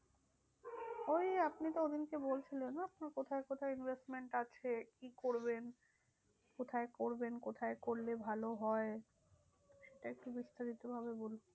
ওই আপনি তো ওদিনকে বলছিলেন না? আপনার কোথায় কোথায় Investments আছে? কী করবেন? কোথায় করবেন? কোথায় করলে ভালো হয়? সেটা একটু বিস্তারিত ভাবে বলুন।